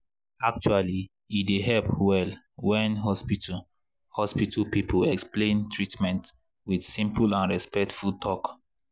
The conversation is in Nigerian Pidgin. actually e dey help well when hospital hospital people explain treatment with simple and respectful talk.